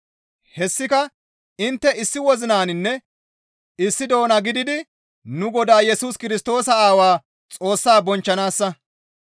Hessika intte issi wozinaninne issi doona gididi nu Godaa Yesus Kirstoosa Aawaa Xoossa bonchchanaassa.